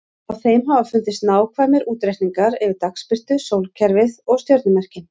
Á þeim hafa fundist nákvæmir útreikningar yfir dagsbirtu, sólkerfið og stjörnumerkin.